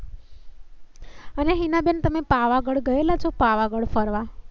અને હિનાબેન તમે પાવાગઢ ગયા છો પાવાગઢ ફરવા?